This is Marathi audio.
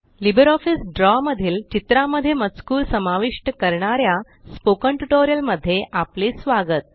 लिब्रिऑफिस द्रव मधील चित्रामध्ये मजकूर समाविष्ट करणाऱ्या स्पोकन टयूटोरियल मध्ये आपले स्वागत